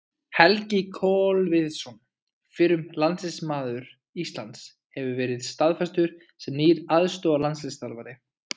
Helgi Kolviðsson, fyrrum landsliðsmaður Íslands, hefur verið staðfestur sem nýr aðstoðarlandsliðsþjálfari.